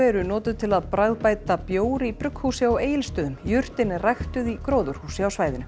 eru notuð til að bragðbæta bjór í brugghúsi á Egilsstöðum jurtin er ræktuð í gróðurhúsi á svæðinu